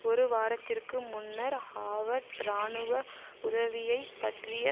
ஒரு வாரத்திற்கு முன்னர் ஹோவர்ட் இராணுவ உதவியை பற்றிய